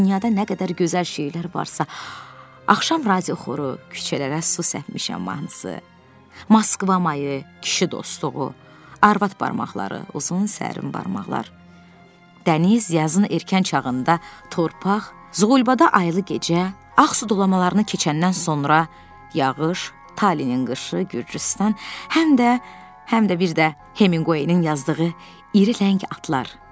Dünyada nə qədər gözəl şeylər varsa axşam razi oxuru küçələrə su səpmişəm mahnısı, Moskva mayı, kişi dostluğu, arvad barmaqları, uzun sərin barmaqlar, dəniz, yazın erkən çağında torpaq, Zqulbada aylı gecə, Ağ su dolamalarını keçəndən sonra yağış, Talinin qışı, Gürcüstan, həm də həm də bir də Heningoeyn yazdığı iri rəng atlar.